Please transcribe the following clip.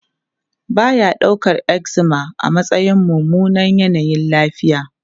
Ba ya daukar eczema a matsayin mummunan yanayin lafiya.